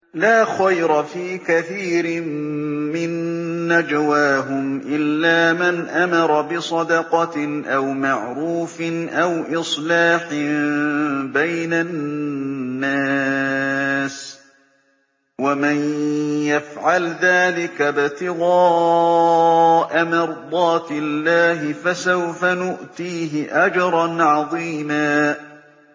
۞ لَّا خَيْرَ فِي كَثِيرٍ مِّن نَّجْوَاهُمْ إِلَّا مَنْ أَمَرَ بِصَدَقَةٍ أَوْ مَعْرُوفٍ أَوْ إِصْلَاحٍ بَيْنَ النَّاسِ ۚ وَمَن يَفْعَلْ ذَٰلِكَ ابْتِغَاءَ مَرْضَاتِ اللَّهِ فَسَوْفَ نُؤْتِيهِ أَجْرًا عَظِيمًا